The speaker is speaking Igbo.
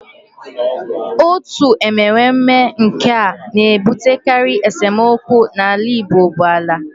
Otu enwemenwe nke na-ebutekarị esemokwu n'ala Igbo bụ ala